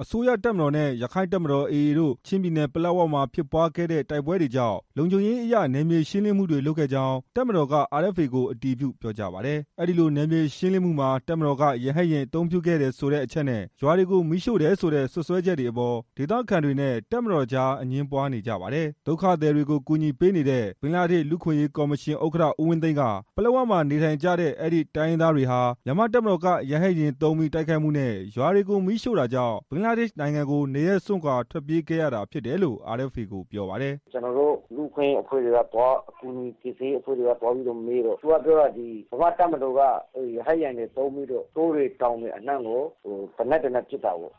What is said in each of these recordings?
အစိုးရတပ်မတော်နဲ့ ရခိုင်တပ်မတော် AA တို့ ချင်းပြည်နယ် ပလက်ဝမှာဖြစ်ပွားခဲ့တဲ့ တိုက်ပွဲတွေကြောင့် လုံခြူံရေးအရ နယ်မြေရှင်းလင်းမှုတွေလုပ်ခဲ့ကြောင်း တပ်မတော်က RFA ကို အတည်ပြုပြောကြားပါတယ်။ အဲဒီလို နယ်မြေရှင်းလင်းမှုမှာ တပ်မတော်က ရဟတ်ယာဉ် အသုံးပြုခဲ့တယ်ဆိုတဲ့အချက်နဲ့ ရွာတွေကို မီးရှို့တယ်ဆိုတဲ့ စွပ်စွဲချက်တွေအပေါ် ဒေသခံတွေနဲ့ တပ်မတော်ကြား အငြင်းပွားနေပါတယ်။ ဒုက္ခသည်တွေကို ကူညီပေးနေတဲ့ ဘင်္ဂလားဒေ့ရှ် လူ့အခွင့်အရေးကော်မရှင်ဥက္ကဋ္ဌ ဦးဝင်းသိန်းက ပလက်၀ မှာနေထိုင်ကြတဲ့ အဲဒီ တိုင်းရင်းသားတွေဟာ မြန်မာ့တပ်မတော်က ရဟတ်ယာဉ်သုံးပြီး တိုက်ခိုက်မှုနဲ့ ရွာတွေကို မီးရှို့တာကြောင့် ဘင်္ဂလားဒေ့ရှ်နိုင်ငံကို နေရပ်စွန့်ခွာ ထွက်ပြေးခဲ့ရတာဖြစ်တယ်လို့ RFA ကိုပြောပါတယ်။ "ကျွန်တော်တို့ လူ့အခွင့်ရေးအဖွဲ့တွေ ကူညီကယ်ဆယ်ရေးအဖွဲ့တွေက သွားပြီးတော့မေးတော့ သူတို့ပြောတာက မြန့်မာ့တပ်မတော်က ရဟတ်ယာဉ်တွေသုံးပြီးတော့ တောတွေတောင်တွေအနှံ့ကို သေနတ်တွေနဲ့ ပစ်တာပေါ့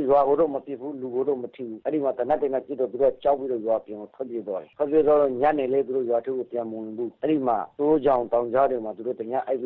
၊ ရွာကိုတော့မပစ်ဘူး လူကိုတော့မထိဘူး ဒါပေမဲ့ သူတို့က ကြောက်ပြီး ရွာပြင်ကို ထွက်ပြေးသွားတယ်၊ သူတို့တောထဲမှာ တစ်ညအိပ်ပြီး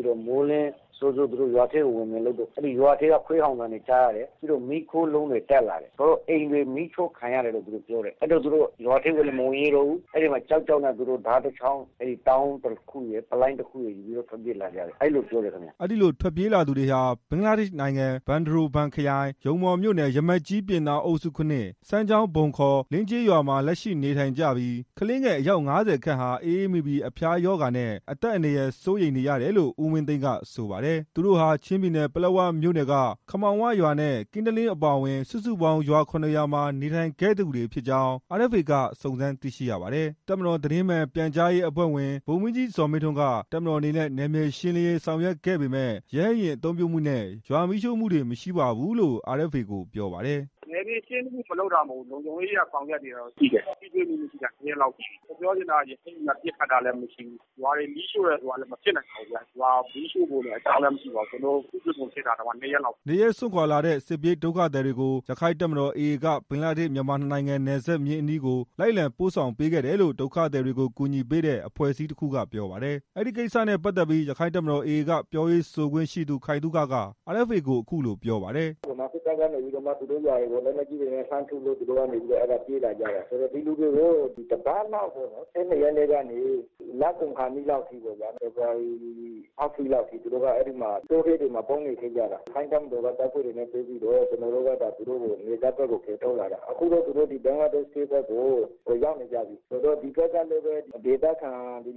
တော့ မိုးလင်းရွာကိုပြန်တော့ ရွာထဲက ခွေးဟောင်အသံတွေလည်းကြားရတယ်၊ နောက်ပြီးရွာထဲက မီးခိုးလုံးတွေ တက်လာတယ်၊ ရွာတွေ မီးရှို့ခံလိုက်ရတယ်လို့ပြောတယ် အဲဒါနဲ့သူတို့ရွာထဲကို မဝင်ရဲတော့ဘူး ဓားတစ်ချောင်းပလိုင်းတစ်ခုကိုယူပြီး ထွက်ပြေးလာကြတယ်လို့ ပြောတယ်ခင်ဗျ" အဲဒီလို ထွက်ပြေးလာသူတွေဟာ ဘင်္ဂလားဒေရှ်နိုင်ငံ ဘန်ဒရိုဘန်ခရိုင် ရုံမော်မြို့နယ် ရမက်ကြီး ပြင်သာအုပ်စု စမ်းချောင်း (ဗုံ ခေါ် လင်းကြေးရွာ)မှာ လက်ရှိနေထိုင်နေကြပြီး ကလေးငယ်အယောက် ၅၀ ခန့်ဟာ အအေးမိပြီး အဖျားရောဂါနဲ့ အသက်အန္တရာယ် စိုးရိမ်နေရတယ်လို့ ဦးဝင်းသိန်းက ဆိုပါတယ်။ သူတို့ဟာ ချင်းပြည်နယ် ပလက်ဝမြို့နယ်က ခမောင်း၀ ရွာ နဲ့ ကင်းတလင်းအပါအဝင် စုစုပေါင်း ရွာ ၇ ရွာမှာ နေထိုင်ခဲ့သူတွေဖြစ်ကြောင်း RFA က စုံစမ်းသိရှိရပါတယ်။ တပ်မတော် သတင်းအမှန်ပြန်ကြားရေးအဖွဲ့ဝင် ဗိုလ်မှုးကြီးဇော်မင်းထွန်းက တပ်မတော်အနေနဲ့ နယ်မြေရှင်းလင်းရေး ဆောင်ရွက်ခဲ့ပေမဲ့ ရဟတ်ယာဉ် အသုံးပြုမှုနဲ့ ရွာမီးရှို့မှုတွေ မရှိပါဘူးလို့ RFA ကိုပြောပါတယ်။ "နယ်မြေရှင်းလင်းမှု မလုပ်တာတော့ မဟုတ်ဘူး လုံခြူံရေးအရ လုပ်တာတွေတော့ရှိတယ် ထိတွေ့မှုမရှိတာ ကလည်း ၂ရက်လောက်ရှိပြီ ရဟတ်ယာဉ်သုံးတယ်ဆိုတာကလည်း မဟုတ်ဘူး ရွာတွေကို မီးရှို့တယ်ဆိုတာ ကလည်း မဖြစ်နိုင်ပါဘူးခင်ဗျ၊ ကျွန်တော်တို့ ထိတွေ့မှုမရှိတာကလည်း ၂ရက်ရှိပြီလေ" နေရပ်စွန့်ခွာလာတဲ့ စစ်ပြေးဒုက္ခသည်တွေကို ရခိုင့်တပ်မတော် AA က ဘင်္ဂလားဒေ့ရှ်မြန်မာ နှစ်နိုင်ငံ နယ်စပ်စည်းမျဉ်းအနီးကို လိုက်လံပို့ဆောင်ပေးခဲ့တယ်လို့ ဒုက္ခသည်တွေကို ကူညီပေးတဲ့အဖွဲ့စည်းတခုက ပြောပါတယ်။ အဲဒီကိစ္စနဲ့ပတ်သက်ပြီး ရခိုင့်တပ်မတော် AA ကပြောရေးဆိုခွင့်ရှိသူ ခိုင်သုခက RFA ကို အခုလိုပြောပါတယ်။ "ဗမာစစ်တပ်က လက်နတ်ကြီးနဲ့ထုလို့ သူတို့ထွက်ပြေးလာကြတာ ၂၂ ရက်လောက်ကနေ လကုန်လောက်ထိ သူတို့ကတောထဲမှာ ပုန်းအောင်းနေကြတယ်၊ အဲဒါနဲ့ ကျွန်တော်တို့ ရခိုင့်တပ်မတော်က ဒီနယ်စပ်အထိကို ကယ်ထုတ်လာတာ သူတို့အခု ဘင်္ဂလားဒေ့ရှ်ဘက်ကို ရောက်နေကြပြီ ဒီဘက်က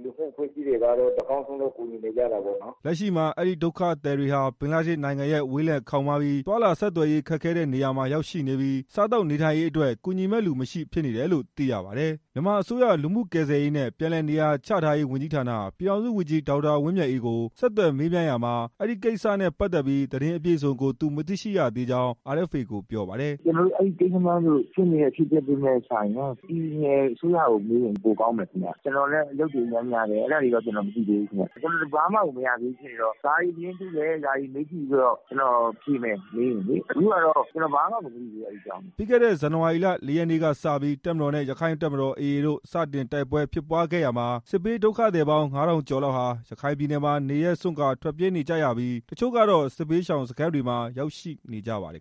လူမှုအဖွဲ့စည်းတွေကလည်း ကူညီနေကြပါတယ်" လက်ရှိမှာ အဲဒီဒုက္ခသည်တွေဟာ ဘင်္ဂလားဒေ့ရှ်နိုင်ငံရဲ့ ဝေးလံခေါင်ပါးပြီး သွားလာဆက်သွယ်ရေး ခက်ခဲတဲ့နေရာမှာ ရောက်ရှိနေပြီး စားသောက်နေထိုင်ရေးအတွက် ကူညီမယ့်လူမရှိဖြစ်နေတယ်လို့ သိရပါတယ် ။ မြန်မာအစိုးရ လူမှုကယ်ဆယ်ရေးနဲ့ ပြန်လည်နေရာချထားရေးဝန်ကြီးဌာန ပြည်ထောင်စုဝန်ကြီး ဒေါက်တာဝင်းမြတ်အေးကို ဆက်သွယ်မေးမြန်းရာမှာ ဒီကိစ္စနဲ့ ပတ်သက်ပြီး သတင်းအပြည့်စုံကို သူမသိရှိရသေးကြောင်း RFA ကို ပြောပါတယ်။ "အဲကိစ္စက ပြည်နယ်အစိုးရကို မေးရင်ပိုကောင်းမယ် ကျွန်တော်ကလည်း အလုပ်များနေတော့ အဲကိစ္စတွေ မသိရှိရသေးဘူးခင်ဗျ၊ ကျွန်တော်သတင်းအစုံရမှ ဖြေမယ်၊ အခုက ကျွန်တော်ဘာမှကို မသိရှိရသေးဘူး" ပြီးခဲ့တဲ့ဇန်နဝါရီလ ရက်နေ့ကစပြီး တပ်မတော်နဲ့ ရခိုင့်တပ်မတော် AA တို့ စတင်တိုက်ပွဲဖြစ်ခဲ့ရာမှာ စစ်ဘေးဒုက္ခသည်ပေါင်း ၅ထောင်ကျော်လောက်ဟာ ရခိုင်ပြည်နယ်မှာ နေရပ်စွန့်ခွာထွက်ပြေးနေကြရပြီး တချို့ကတော့ စစ်ဘေးရှောင်စခန်းတွေမှာ ရောက်ရှိနေကြပါတယ်